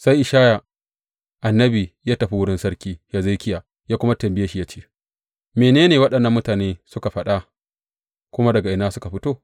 Sai Ishaya annabi ya tafi wurin Sarki Hezekiya ya kuma tambaye shi ya ce, Mene ne waɗannan mutane suka faɗa, kuma daga ina suka fito?